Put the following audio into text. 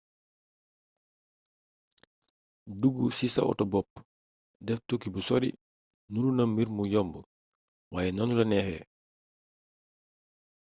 dugg ci sa oto bopp def tukki bu sori nuru na mbir mbu yomb waaye noonu la neexee